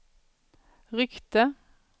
ryckte